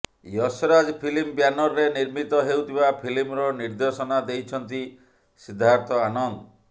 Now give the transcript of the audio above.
Yash Raj film ବ୍ୟାନରରେ ନିର୍ମିତ ହେଉଥିବା ଫିଲ୍ମର ନିର୍ଦ୍ଦେଶନା ଦେଇଛନ୍ତି ସିଦ୍ଧାର୍ଥ ଆନନ୍ଦ